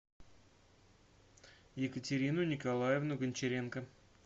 екатерину николаевну гончаренко